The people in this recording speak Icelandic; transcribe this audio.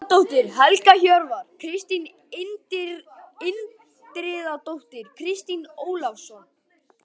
Gísladóttir, Helga Hjörvar, Kristín Indriðadóttir, Kristín Ólafsdóttir